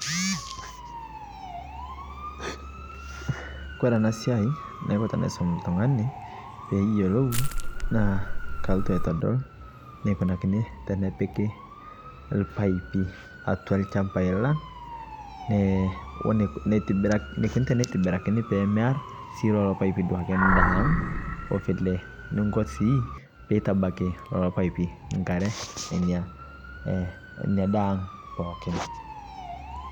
kore ana siai naiko tanaisom ltungani peeyolou naa kaltu aitodol neikunakini tenepiki lpaipi atua lchampai lang neikoni teneitibirakini pemear sii duake lolo paipii ndaa aang ovile niko sii peitabaki loloo paipi nkare nenia daa aang pookin